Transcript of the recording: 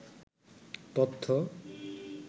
তথ্য